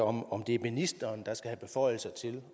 om om det er ministeren der skal have beføjelser til